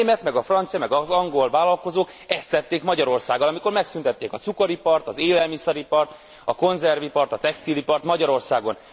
Namost a német, meg a francia, meg az angol vállalkozók ezt tették Magyarországgal, amikor megszüntették a cukoripart, az élelmiszeripart, a konzervipart, a textilipart Magyarországon.